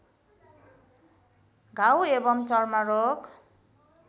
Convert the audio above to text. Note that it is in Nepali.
घाउ एवं चर्मरोग